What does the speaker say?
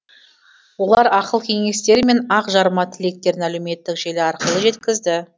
олар ақыл кеңестері мен ақ жарма тілектерін әлеуметтік желі арқылы жеткізді